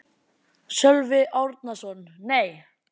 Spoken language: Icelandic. Sölvi Árnason: Nei.